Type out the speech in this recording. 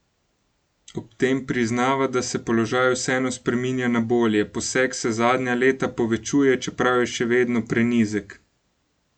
Ob tem priznava, da se položaj vseeno spreminja na bolje: 'Posek se zadnja leta povečuje, čeprav je še vedno prenizek.